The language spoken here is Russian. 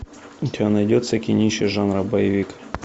у тебя найдется кинище жанра боевик